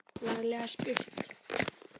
Laglega spurt!